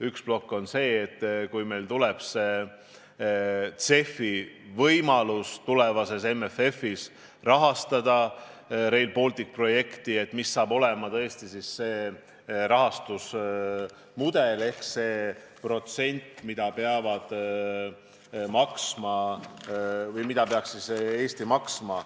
Üks plokk on see, et kui meil tuleb CEF-i võimalus tulevases MFF-is rahastada Rail Balticu projekti, siis milline saab olema see rahastamismudel ehk protsent, mida peaks Eesti maksma.